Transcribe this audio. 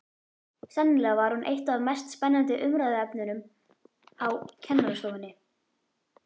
Sennilega var hún eitt af mest spennandi umræðuefnunum á kennarastofunni.